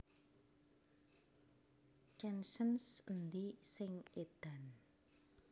Chansons Endi sing Edan